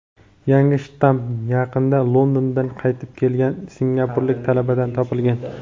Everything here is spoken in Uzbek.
yangi shtamm yaqinda Londondan qaytib kelgan singapurlik talabadan topilgan.